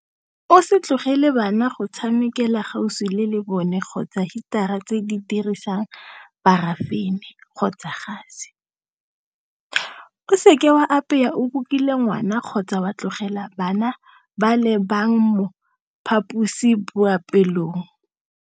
O se tlogele bana go tshamekela gaufi le lebone kgotsa hitara tse di dirisang parafene kgotsa gase. O seke wa apaya o kukile ngwana kgotsa wa tlogela bana ba le bang mo phaposiboapeelong.